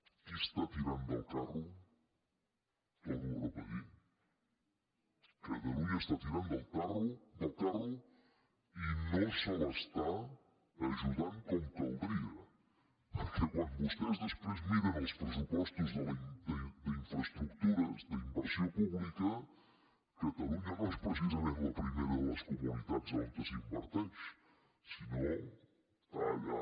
qui està tirant el carro ho torno a repetir catalunya està tirant el carro i no se l’està ajudant com caldria perquè quan vostès després miren els pressupostos d’infraestructures d’inversió pública catalunya no és precisament la primera de les comunitats on s’inverteix sinó que està allà